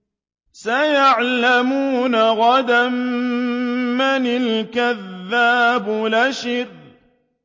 سَيَعْلَمُونَ غَدًا مَّنِ الْكَذَّابُ الْأَشِرُ